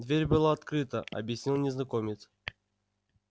дверь была открыта объяснил незнакомец